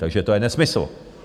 Takže to je nesmysl.